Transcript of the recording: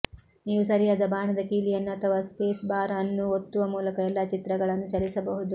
ನೀವು ಸರಿಯಾದ ಬಾಣದ ಕೀಲಿಯನ್ನು ಅಥವಾ ಸ್ಪೇಸ್ ಬಾರ್ ಅನ್ನು ಒತ್ತುವ ಮೂಲಕ ಎಲ್ಲಾ ಚಿತ್ರಗಳನ್ನು ಚಲಿಸಬಹುದು